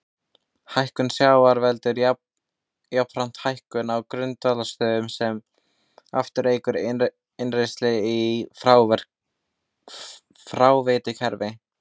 Hækkun sjávar veldur jafnframt hækkun á grunnvatnsstöðu sem aftur eykur innrennsli í fráveitukerfi.